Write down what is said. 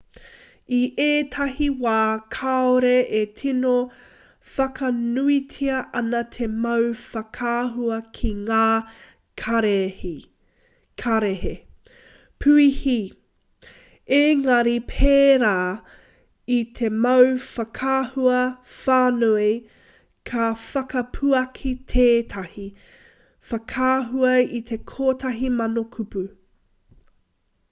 i ētahi wā kāore e tino whakanuitia ana te mau whakaahua ki ngā kararehe puihi engari pērā i te mau whakaahua whānui ka whakapuaki tētahi whakaahua i te kotahi mano kupu